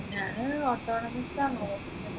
ഞാൻ ആ നോക്കുന്നത്